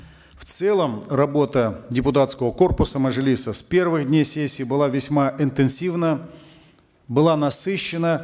в целом работа депутатского корпуса мажилиса с первых дней сессии была весьма интенсивна была насыщенна